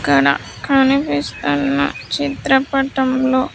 ఇక్కడ కనిపిస్తున్న చిత్రపటంలో.